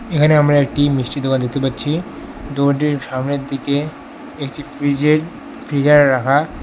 এখানে আমরা একটি মিষ্টির দোকান দেখতে পাচ্ছি দোকানটির সামনের দিকে একটি ফ্রিজের ফ্রিজার রাখা।